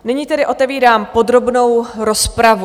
Nyní tedy otevírám podrobnou rozpravu.